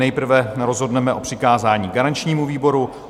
Nejprve rozhodneme o přikázání garančnímu výboru.